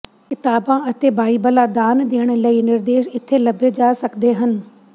ਕਿਤਾਬਾਂ ਅਤੇ ਬਾਈਬਲਾਂ ਦਾਨ ਦੇਣ ਲਈ ਨਿਰਦੇਸ਼ ਇੱਥੇ ਲੱਭੇ ਜਾ ਸਕਦੇ ਹਨ